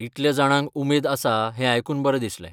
इतल्या जाणांक उमेद आसा हें आयकून बरें दिसलें.